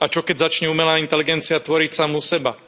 A čo keď začne umelá inteligencia tvoriť samú seba?